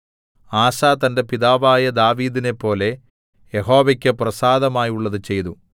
ആസാ തന്റെ പിതാവായ ദാവീദിനെപ്പോലെ യഹോവയ്ക്ക് പ്രസാദമായുള്ളത് ചെയ്തു